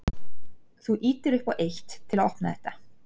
Þú ýtir upp á eitt. til að opna þetta.